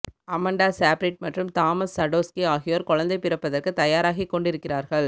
Amanda Seyfried மற்றும் Thomas Sadoski ஆகியோர் குழந்தை பிறப்பதற்கு தயாராகிக்கொண்டிருக்கிறார்கள்